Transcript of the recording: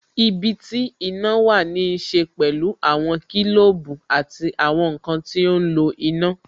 Ibi tí iná wà ní ṣe pẹ̀lú àwọn kilobu àti àwọn nkan ti ó ń lo iná